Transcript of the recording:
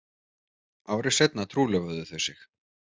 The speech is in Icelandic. Ári seinna trúlofuðu þau sig